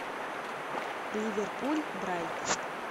ливерпуль брайтон